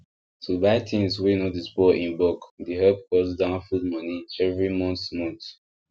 to buy things wey no dey spoil in bulk e dey help cut down food money every month month